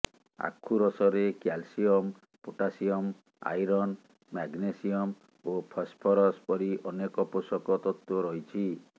ଆଖୁରସରେ calcium potassium iron magnesium ଓ phosphorus ପରି ଅନେକ ପୋଷକ ତତ୍ତ୍ୱ ରହିଛି